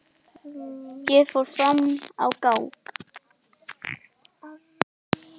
Ég fór fram á gang.